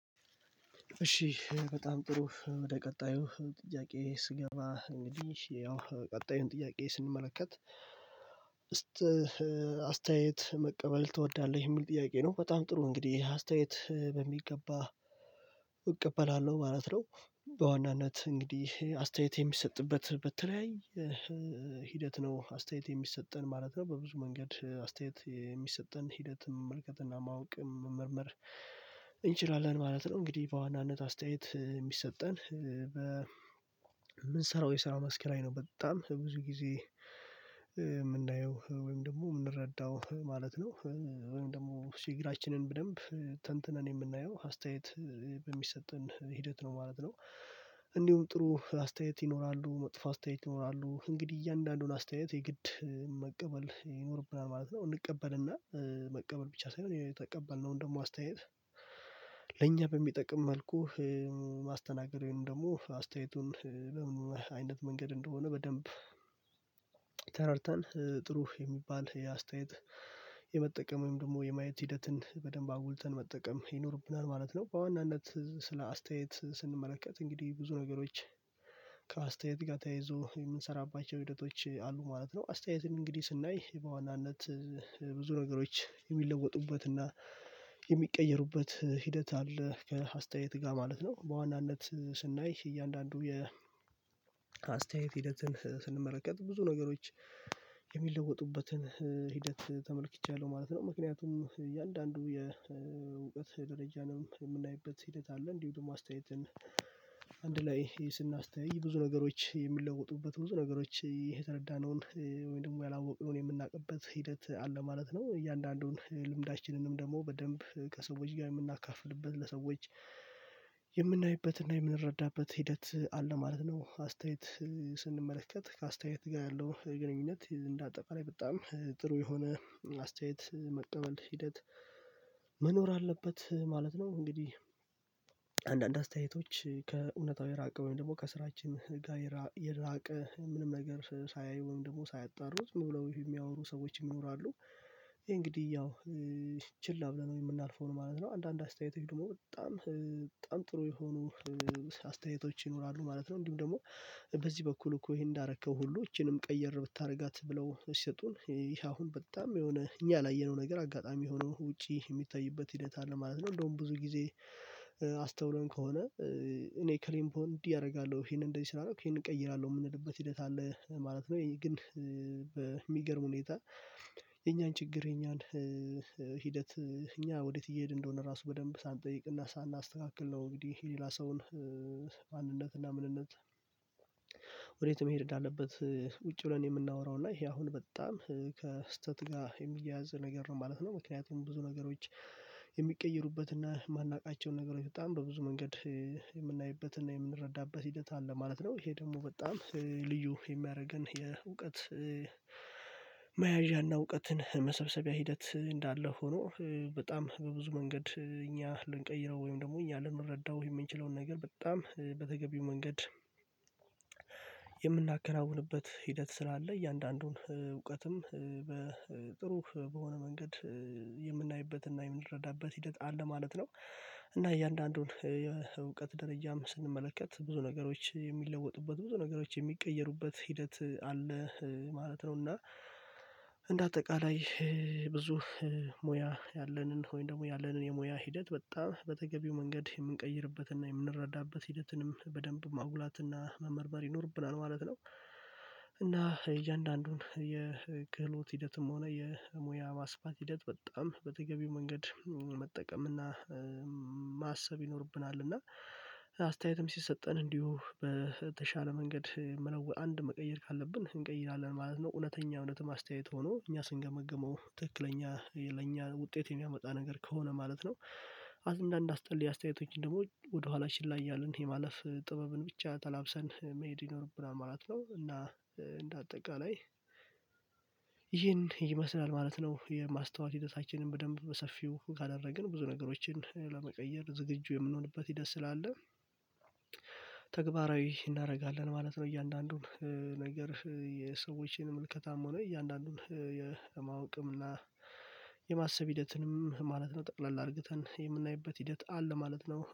እሺ በጣም ጥሩ ወደ ቀጣዩ ጥያቄ ስገባ እንግዲህ ያው ቀጣዩን ጥያቄ ስንመለከት አስተያየት መቀበል ትወዳለህ የሚል ጥያቄ ነው። በጣም ጥሩ እንግዲህ አስተያየት በሚገባ እቀበላለሁ ማለት ነው። በዋናነት እንግዲህ አስተያየት የሚሰጥበት በተለያይ ሂደት ነው አስተያየት የሚሰጠን ማለት ነው። በብዙ መንገድ አስተያየት የሚሰጠን ሂደትም መመልከት እና ማወቅም መመርመር እንችላለን ማለት ነው። እንግዲህ በዋናነት አስተያየት የሚሰጠን በምንሰራው የሰራ መስክ ላይ ነው በጣም ብዙ ጊዜ የምናየው ወይም ደግሞ ምንረዳው ማለት ነው። ወይም ደግሞ ችግሮችን በደንብ ተንትነን የምናየው አስተያየት በሚሰጠን ሂደት ነው ማለት ነው። እንዲሁም ጥሩ አስተያየት ይኖራሉ መጥፎ አስተያየት ይኖራሉ እንግዲህ እያንዳንዱን አስተያየት የግድ መቀበል ይኖርብናል ማለት ነው። እንቀበልና መቀበል ብቻ ሳይሆን የተቀበልነውን ደግሞ አስተያየት ለኛ በሚጠቅም መልኩ ማስተናገደውን ደግሞ አስተያየቱን በምን አይነት መንገድ እንደሆነ በደንብ ተረድተን ጥሩ የሚባል የአስተያየት የመጠቀም ወይም ደግሞ የማየት ሂደትን በደንብ አጉልተን መጠቀም ይኖርብናል ማለት ነው። በዋናነት ስለ አስተያየት ስንመለከት እንግዲህ ብዙ ነገሮች ከአስተያየት ጋር ተያይዞ የምንሰራባቸው ህደቶች አሉ ማለት ነው። አስተያየትን እንግዲህ ስናይ በዋናነት ብዙ ነገሮች የሚለወጡበትና እና የሚቀየሩበት ሂደት አለ ከአስተያየት ጋር ማለት ነው። በዋናነት ስናይ እያንዳንዱ የ አስተያየት ሂደትን ስንመለከት ብዙ ነገሮች የሚለወጡበትን ሂደት ተመልክቻለሁ ማለት ነው። ምክንያቱም እያንዳንዱ የእውቀት ደረጃንም የምናይበት ሂደት አለ እንዲሁ ደግሞ አስተያየትን አንድ ላይ ስናስተያይ ብዙ ነገሮች የምንለውጡበት ብዙ ነገሮች ይሄ የተረዳነውን ወይ ደግሞ ያላወቀውን የምናውቅበት ሂደት አለ ማለት ነው። እያንዳንዱን ልምዳችንንም ደግሞ በደንብ ከሰዎች ጋር የምናካፍልበት ለሰዎች የምናይበትና የምንረዳበት ሂደት አለ ማለት ነው። አስተያየት ስንመለከት ከአስተያየት ጋር ያለው ግንኙነት እንደ አጠቃላይ በጣም ጥሩ የሆነ አስተያየት መቀበል ሂደት መኖር አለበት ማለት ነው። እንግዲህ አንዳንድ አስተያየቶች ከእውነታው የራቀ ወይም ደግሞ ከስራችን ጋር የራቀ ምንም ነገር ሳያዩ ወይም ደግሞ ሳያጣሩ ዝም ብለው የሚያወሩ ሰዎች ይኖራሉ እንግዲህ ያው ችላ ብለን የምናልፈው ነው ማለት ነው። አንዳንድ አስተያየት ደግሞ በጣም በጣም ጥሩ የሆኑ አስተያየቶች ይኖራሉ ማለት ነው። እንዲሁም ደግሞ በዚህ በኩል እኮ ይሄን እንዳረከው ሁሉ ይቺንም ቀየር ብታደርጋት ብለው ሲሰጡን ይሄ አሁን በጣም የሆነ እኛ ያላየነው ነገር አጋጣሚ የሆነው ውጪ የሚታይበት ሂደት አለ ማለት ነው። እንደውም ብዙ ጊዜ አስተውለን ከሆነ እኔ ከሌን ብሆን እንዲህ አደርጋለሁ ይሄንን እንደዚህ ስላረኩ ይሄንን እቀይራለሁ የምንልበት ሂደት አለ ማለት ነው። ይህ ግን በሚገርም ሁኔታ የኛን ችግር የኛን ሂደት እኛ ወዴት እየሄድን እንደሆነ ራሱ በደንብ ሳንጠይቅና ሳናስተካክል ነው። እንግዲህ ይሄ ሌላ ሰውን ማንነት እና ምንነት ወዴት መሄድ እንዳለበት ቁጭ ብለን የምናወራው እና ይሄ አሁን በጣም ከስህተት ጋር የሚያያዝ ነገር ነው ማለት ነው። ምክንያቱም ብዙ ነገሮች የሚቀይሩበት እና የማናውቃቸውን ነገሮች በጣም በብዙ መንገድ የምናይበትና የምንረዳበት ሂደት አለ ማለት ነው። ይሄ ደግሞ በጣም ልዩ የሚያደርገን የእውቀት መያዣና እውቀትን መሰብሰቢያ ሂደት እንዳለ ሆኖ በጣም በብዙ መንገድ እኛ ልንቀይረው ወይም ደግሞ እኛ ልንረዳው ወይ የምንችለውን ነገር በጣም በተገቢው መንገድ የምናከናውንበት ሂደት ስላለ እያንዳንዱን እውቀትም በጥሩ በሆነ መንገድ የምናይበትና የምንረዳበት ሂደት አለ ማለት ነው። እና እያንዳንዱን የእውቀት ደረጃም ስንመለከት ብዙ ነገሮች የሚለወጡበት ብዙ ነገሮች የሚቀየሩበት ሂደት አለ ማለት ነው። እና እንደ አጠቃላይ ብዙ ሙያ ያለንን ወይም ደግሞ ያለንን የሙያ ሂደት በጣም በተገቢው መንገድ የምንቀይርበትና የምንረዳበት ሂደትንም በደንብ ማጉላት እና መመርመር ይኖርብናል ማለት ነው። እና እያንዳንዱን የክህሎት ሂደትም ሆነ የሙያ ማስፋት ሂደት በጣም በተገቢው መንገድ መጠቀም እና ማሰብ ይኖርብናል እና አስተያየትም ሲሰጠን እንዲሁ በተሻለ መንገድ መለወጥ አንድ መቀየር ካለብን እንቀይራለን ማለት ነው። እውነተኛ እውነተኛ አስተያየት ሆኖ እኛ ስንገመግመው ትክክለኛ ለኛ ውጤት የሚያመጣ ነገር ከሆነ ማለት ነው። አንዳንድ አስጠሊ አስተያየቶች ደግሞ ወደ ኋላ ችላ እያልን የማለፍ ጥበብን ብቻ ተላብሰን መሄድ ይኖርብናል ማለት ነው። እና እንደ አጠቃላይ ይህን ይመስላል ማለት ነው። የማስታወል ሂደታችን በደንብ በሰፊው ካደረግን ብዙ ነገሮችን ለመቀየር ዝግጁ የምንሆንበት ሂደት ስላለ ተግባራዊ እናደርጋለን ማለት ነው። እያንዳንዱን ነገር የሰዎችን ምልከታም ሆኖ የእያንዳንዱን የማወቅም እና የማሰብ ሂደትንም ማለት ነው። ጠቅለል አርግተን የምናይበት ሂደት አለ ማለት ነው